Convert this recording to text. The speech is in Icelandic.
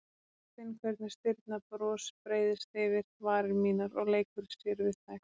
Og ég finn hvernig stirðnað bros breiðist yfir varir mínar og leikur sér við þær.